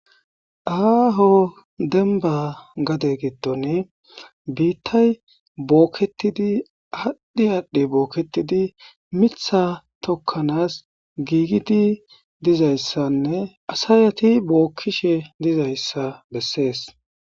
Aho denbba gade giddoni bitay bokettidi adhi adhi bokettidi mitha tokanas gigidi dizayssane assati bokishe dizayssa besses